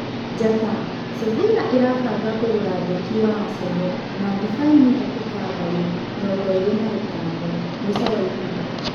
(Njata) Cevira ĩrabanga kũgũra mbeki wa Aseno na Thibaini Hekita Mbari, mĩrongoĩrĩ na ĩtano, mũico wa ihinda.